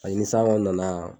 Ayi ni san kɔni nana.